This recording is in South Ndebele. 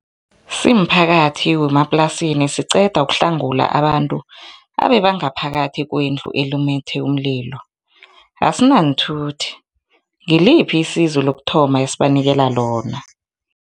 Simphakathi wemaplasini siqeda ukuhlangula abantu abebangaphakathi kwendlu elumethe umlilo, asinaanthuthi, ngiliphi isizo lokuthoma esibanikela lona?